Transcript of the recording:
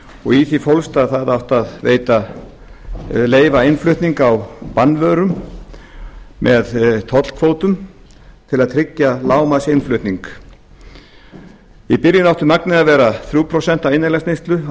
og í því fólst að það átti að leyfa innflutning á bannvörum með tollkvótum til að tryggja lágmarksinnflutning í byrjun átti magnið að vera þrjú prósent af innanlandsneyslu á